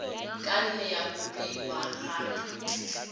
ka nne ya kopiwa gape